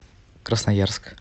красноярск